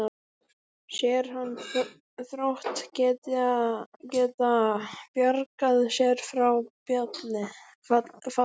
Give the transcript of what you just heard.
Sér hann Þrótt geta bjargað sér frá falli?